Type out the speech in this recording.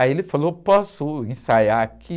Aí ele falou, posso ensaiar aqui?